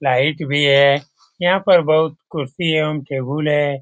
Light भी है यहाँ पर बहुत कुर्सियां एवं टेबुल है।